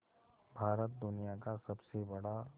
भारत दुनिया का सबसे बड़ा